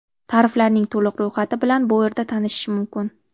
Tariflarning to‘liq ro‘yxati bilan bu yerda tanishish mumkin.